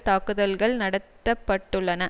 தாக்குதல்கள் நடத்த பட்டுள்ளன